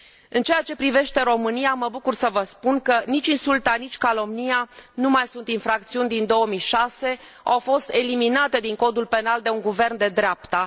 În ceea ce privește România, mă bucur să vă spun că nici insulta, nici calomnia nu mai sunt infracțiuni din 2006, au fost eliminate din Codul Penal de un guvern de dreapta.